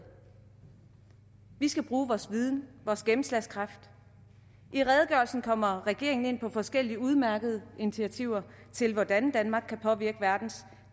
vi skal bruge vores viden vores gennemslagskraft i redegørelsen kommer regeringen ind på forskellige udmærkede initiativer til hvordan danmark kan påvirke verdens